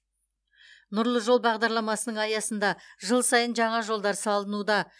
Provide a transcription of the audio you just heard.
нұрлы жол бағдарламасының аясында жыл сайын жаңа жолдар салынуда